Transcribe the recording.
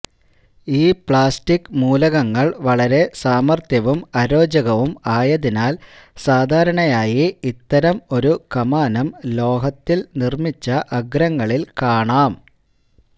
ഈ പ്ലാസ്റ്റിക് മൂലകങ്ങൾ വളരെ സാമർത്ഥ്യവും അരോചകവും ആയതിനാൽ സാധാരണയായി ഇത്തരം ഒരു കമാനം ലോഹത്തിൽ നിർമ്മിച്ച അഗ്രങ്ങളിൽ കാണാം